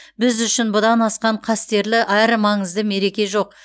біз үшін бұдан асқан қастерлі әрі маңызды мереке жоқ